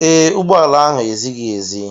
Ee, ụgbọ ala ahụ ezighi ezi.